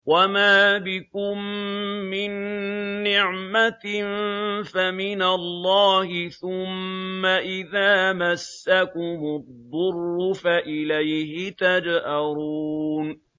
وَمَا بِكُم مِّن نِّعْمَةٍ فَمِنَ اللَّهِ ۖ ثُمَّ إِذَا مَسَّكُمُ الضُّرُّ فَإِلَيْهِ تَجْأَرُونَ